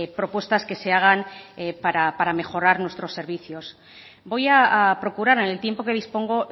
propuestas que se hagan para mejorar nuestros servicios voy a procurar en el tiempo que dispongo